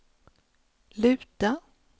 luta